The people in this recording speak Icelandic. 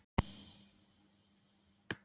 Ekki segja neitt að óyfirveguðu ráði!